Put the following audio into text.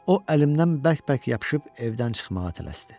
O əlimdən bərk-bərk yapışıb evdən çıxmağa tələsdi.